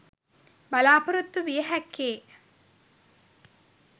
බලාපොරොත්තු විය හැක්කේ